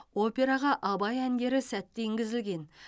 операға абай әндері сәтті енгізілген